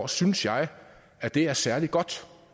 synes jeg at det er særlig godt